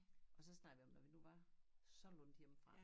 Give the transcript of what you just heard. Og så snakkede jeg om når vi nu var så langt hjemmefra